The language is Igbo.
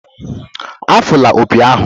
Afụla opi ahụ!